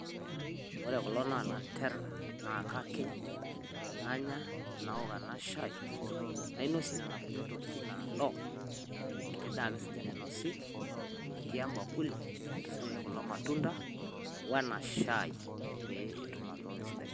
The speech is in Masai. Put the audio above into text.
wore kulo naa lanterera naa kakiny nanya nawok ena shaii nainosie nena kuti tokiting nado enkiti daa nainosi natii embakuli nintusujaki kulo matunda wenashaii petumoki atotona esidai